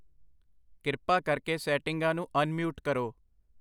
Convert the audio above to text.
ਕਿਰਪਾ ਕਰਕੇ ਸੈਟਿੰਗਾਂ ਨੂੰ ਅਨਮਿਊਟ ਕਰੋ।